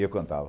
E eu cantava.